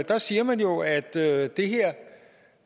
der siger man jo at det